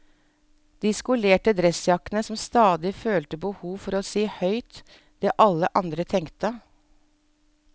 De skolerte dressjakkene som stadig følte behov for å si høyt det alle andre tenkte.